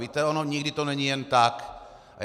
Víte, ono nikdy to není jen tak.